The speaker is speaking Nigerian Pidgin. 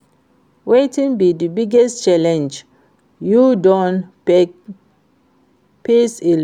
Wetin be di biggest challenge you don face in love?